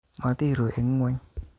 Motiru eng ngweny